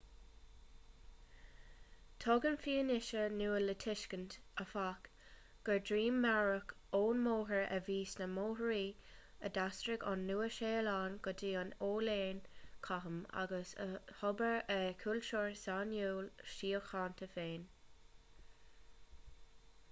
tugann fianaise nua le tuiscint áfach gur dream maorach ón mórthír a bhí sna moriori a d'aistrigh ón nua-shéalainn go dtí na hoileáin chatham agus a d'fhorbair a gcultúr sainiúil síochánta féin